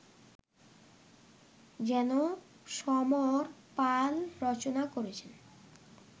যেন সমর পাল রচনা করেছেন